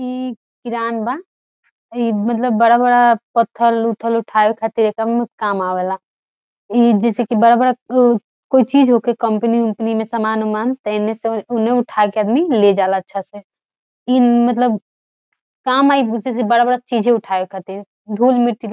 इ किरान बा इ मतलब बड़ा-बड़ा पत्थर उत्थर उठावे खातिर एकर काम आवेला इ जैसे की बड़ा बड़ा कोय चीज होके कंपनी मे समान-उमान एने से उने उठा के आदमी ले जाला अच्छा से इ मतलब बड़ा बड़ा चीज़े उठावे खातिर धूल-मिट्टी --